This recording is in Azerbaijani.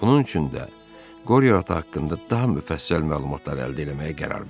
Bunun üçün də Qoriyo ata haqqında daha müfəssəl məlumatlar əldə etməyə qərar verdi.